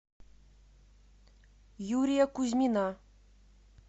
юрия кузьмина